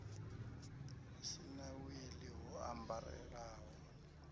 si na wili ho ambarelaho